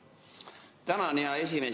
Tänan, hea esimees!